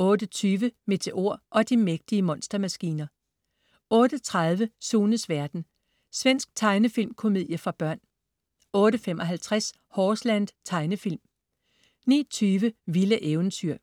08.20 Meteor og de mægtige monstermaskiner 08.30 Sunes verden. Svensk tegnefilmkomedie for børn 08.55 Horseland. Tegnefilm 09.20 Vilde eventyr